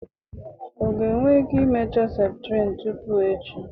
ọ ga-enwe ike imecha septrin tupu echi?